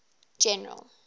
general